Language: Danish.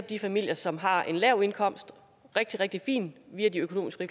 de familier som har en lav indkomst rigtig rigtig fint via de økonomiske